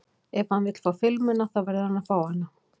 Ef hann vill fá filmuna þá verður hann að fá hana.